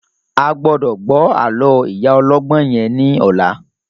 A gbọ́dọ̀ gbọ́ àlọ́ ìyá ọlọ́gbọ́n yẹn ní ọ̀la